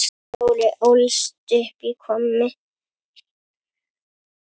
Þórir ólst upp í Hvammi.